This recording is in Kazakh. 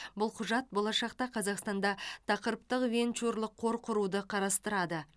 бұл құжат болашақта қазақстанда тақырыптық венчурлық қор құруды қарастырады